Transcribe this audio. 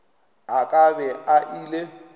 a ka be a ile